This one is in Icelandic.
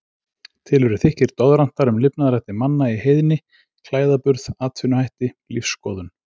Til eru þykkir doðrantar um lifnaðarhætti manna í heiðni, klæðaburð, atvinnuhætti, lífsskoðun.